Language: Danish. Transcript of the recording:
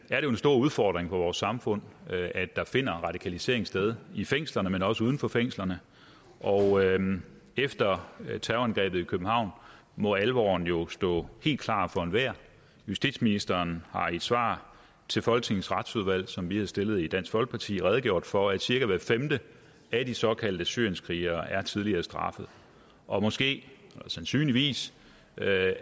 stor udfordring for vores samfund at der finder radikalisering sted i fængslerne men også uden for fængslerne og efter terrorangrebet i københavn må alvoren jo stå helt klart for enhver justitsministeren har i et svar til folketingets retsudvalg som vi har stillet i dansk folkeparti redegjort for at cirka hver femte at de såkaldte syrienskrigerne er tidligere straffede og måske sandsynligvis